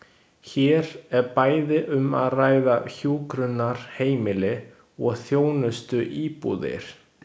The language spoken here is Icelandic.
Hér er bæði um að ræða hjúkrunarheimili og þjónustuíbúðir.